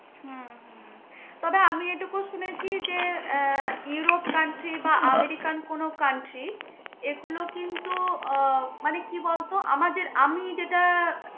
হম তবে আমি এটুকু শুনেছি, যে আহ ইউরোপ country বা আমেরিকান কোন country এগুলো কিন্তু আহ মানে কি বলব আমাদের আমি যেটা